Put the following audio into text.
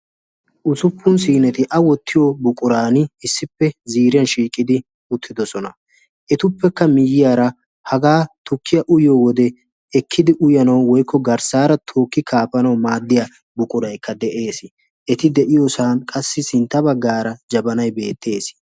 ussuppun siinetti a wottiyo buquran issippe shiiqidi uttidoosona. etuppekka haga tukkiya uyyiyo wode ekkidi uyyanaw woykko garssara tookki kaafanaw maadiya buquraykka qassi de'ees. eti de'iyoosan sintta baggara jabanay beettees.